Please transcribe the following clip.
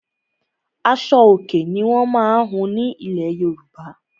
Aṣo-Òkè ni wọ́n má ń hun ní ilẹ̀ Yorùbá.